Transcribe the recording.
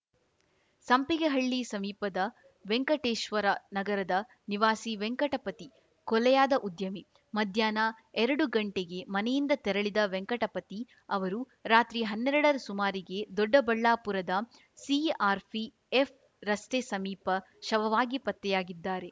ಸಂಪಿಗೆಹಳ್ಳಿ ಸಮೀಪದ ವೆಂಕಟೇಶ್ವರ ನಗರದ ನಿವಾಸಿ ವೆಂಕಟಪತಿ ಕೊಲೆಯಾದ ಉದ್ಯಮಿ ಮಧ್ಯಾಹ್ನ ಎರಡು ಗಂಟೆಗೆ ಮನೆಯಿಂದ ತೆರಳಿದ ವೆಂಕಟಪತಿ ಅವರು ರಾತ್ರಿ ಹನ್ನೆರಡರ ಸುಮಾರಿಗೆ ದೊಡ್ಡಬಳ್ಳಾಪುರದ ಸಿಆರ್‌ಪಿಎಫ್‌ ರಸ್ತೆ ಸಮೀಪ ಶವವಾಗಿ ಪತ್ತೆಯಾಗಿದ್ದಾರೆ